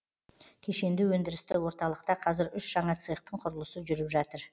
кешенді өндірісті орталықта қазір үш жаңа цехтың құрылысы жүріп жатыр